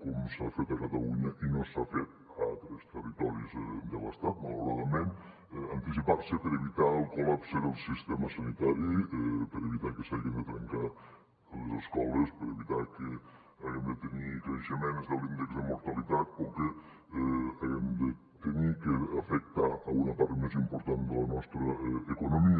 com s’ha fet a catalunya i no s’ha fet a altres territoris de l’estat malauradament per evitar el col·lapse del sistema sanitari per evitar que s’hagin de tancar les escoles per evitar que haguem de tenir creixements de l’índex de mortalitat o que haguem d’afectar una part més important de la nostra economia